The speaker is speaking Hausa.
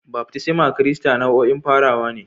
Baftisma Kirista nau'in farawa ne..